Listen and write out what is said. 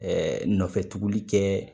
Ɛɛ nɔfɛ tuguli kɛ